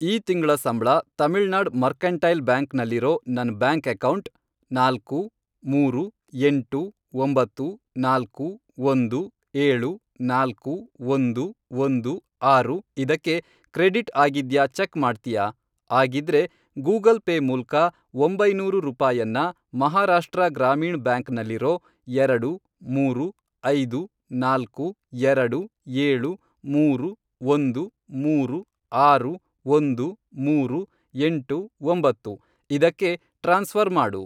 ಈ ತಿಂಗ್ಳ ಸಂಬ್ಳ ತಮಿಳ್ನಾಡ್ ಮರ್ಕೆಂಟೈಲ್ ಬ್ಯಾಂಕ್ ನಲ್ಲಿರೋ ನನ್ ಬ್ಯಾಂಕ್ ಅಕೌಂಟ್, ನಾಲ್ಕು, ಮೂರು, ಎಂಟು, ಒಂಬತ್ತು, ನಾಲ್ಕು, ಒಂದು, ಏಳು, ನಾಲ್ಕು, ಒಂದು, ಒಂದು, ಆರು, ಇದಕ್ಕೆ ಕ್ರೆಡಿಟ್ ಆಗಿದ್ಯಾ ಚೆಕ್ ಮಾಡ್ತ್ಯಾ? ಆಗಿದ್ರೆ, ಗೂಗಲ್ ಪೇ ಮೂಲ್ಕ ಒಂಬೈನೂರು ರೂಪಾಯನ್ನ ಮಹಾರಾಷ್ಟ್ರ ಗ್ರಾಮೀಣ್ ಬ್ಯಾಂಕ್ ನಲ್ಲಿರೋ, ಎರಡು , ಮೂರು , ಐದು, ನಾಲ್ಕು, ಎರಡು, ಏಳು, ಮೂರು, ಒಂದು, ಮೂರು, ಆರು, ಒಂದು, ಮೂರು, ಎಂಟು, ಒಂಬತ್ತು, ಇದಕ್ಕೆ ಟ್ರಾನ್ಸ್ಫ಼ರ್ ಮಾಡು.